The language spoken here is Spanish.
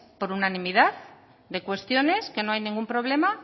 por unanimidad de cuestiones que no hay ningún problema